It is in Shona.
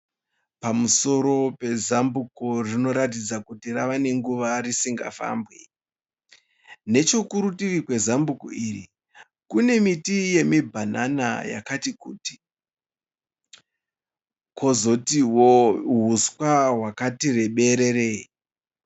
Pamusoro pezambuko rinoratidza kuti ravanenguva risingafambwe, nechekurutivi kwezambuko iri kune miti yemibhanana yakati kuti, kozotiwo huswa hwakati rebererei.